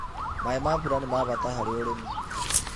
Maĩ ma mbura nĩ ma bata harĩ ũrĩmi.